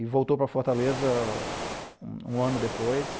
E voltou para Fortaleza um ano depois.